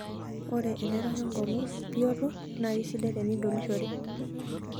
Ore enerok enkong'u bioto naa keisidai tenidolishore.